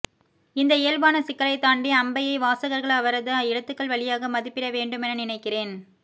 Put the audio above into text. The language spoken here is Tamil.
இந்த இயல்பான சிக்கலைத்தாண்டி அம்பையை வாசகர்கள் அவரது எழுத்துக்கள் வழியாக மதிப்பிடவேண்டுமென நினைக்கிறேன்